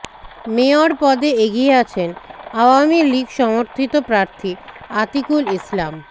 mayor পদে এগিয়ে আছেন আওয়ামী লীগ সমর্থিত প্রার্থী আতিকুল ইসলাম